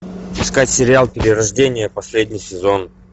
искать сериал перерождение последний сезон